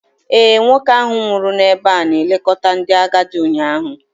Ee, nwoke ahụ nwụrụ n'ebe a na-elekọta ndị agadi ụnyaahụ.